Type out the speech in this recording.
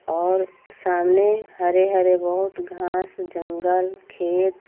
और सामने हरे हरे बहोत घास जंगल खेत --